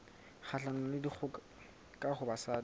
kgahlanong le dikgoka ho basadi